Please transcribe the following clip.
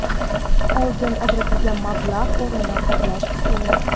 oldin ajratilgan mablag‘ o‘rnini qoplash) uchun;.